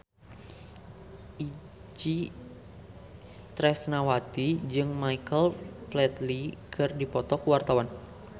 Itje Tresnawati jeung Michael Flatley keur dipoto ku wartawan